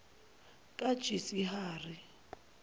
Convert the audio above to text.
kajisihari